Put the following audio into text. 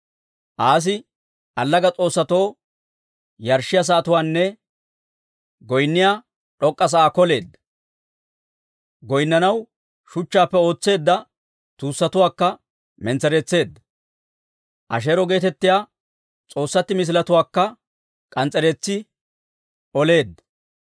Aasi allaga s'oossatoo yarshshiyaa sa'atuwaanne goynniyaa d'ok'k'a sa'aa koleedda. Goynnanaw shuchchaappe ootseedda tuussatuwaakka mentsereetseedda; Asheero geetettiyaa s'oossatti misiletuwaakka k'ans's'ereetsi oleedda.